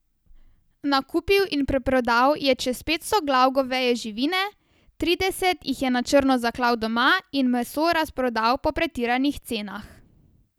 Nakupil in preprodal je čez petsto glav goveje živine, trideset jih je na črno zaklal doma in meso razprodal po pretiranih cenah.